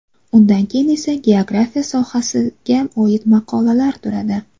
Undan keyin esa geografiya sohasiga oida maqolalar turadi.